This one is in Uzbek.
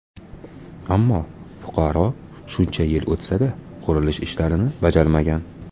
Ammo fuqaro shuncha yil o‘tsa-da, qurilish ishlarini bajarmagan.